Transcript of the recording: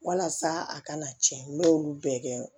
Walasa a kana tiɲɛ n y'olu bɛɛ kɛ